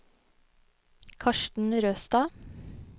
Karsten Røstad